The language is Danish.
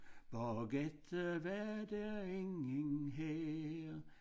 Bagefter var der ingen her